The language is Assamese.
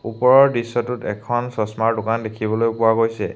ওপৰৰ দৃশ্যটোত এখন চচমাৰ দোকান দেখিবলৈ পোৱা গৈছে।